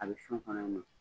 A bɛ sɔn kɔnɔ